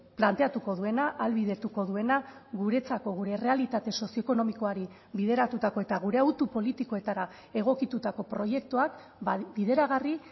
planteatuko duena ahalbidetuko duena guretzako gure errealitate sozioekonomikoari bideratutako eta gure autu politikoetara egokitutako proiektuak bideragarri